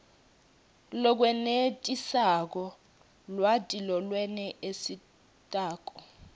lokwenetisako lwati lolwenetisako